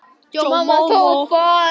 og dálítið kvíðin.